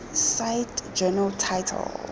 cite journal title